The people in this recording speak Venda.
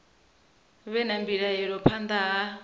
vhe na mbilaelo phanḓa ha